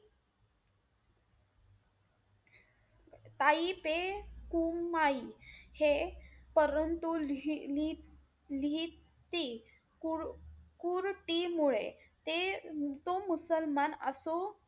काई पे कुमाई हे परंतु ली~ लिहिते कुर~ कुरटीमुळे ते तो मुसलमान असो,